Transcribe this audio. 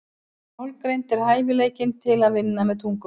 Málgreind er hæfileikinn til að vinna með tungumál.